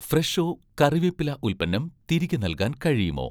ഫ്രെഷോ' കറിവേപ്പില ഉൽപ്പന്നം തിരികെ നൽകാൻ കഴിയുമോ?